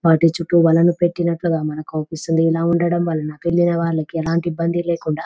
వాటి చుట్టూ వలలు పెట్టినట్టుగా మనకవుపిస్తుంది. ఇలా ఉండడం వలన అక్కడికెళ్లిన వాళ్ళకి ఎలాంటి ఇబ్బంది లేకుండా--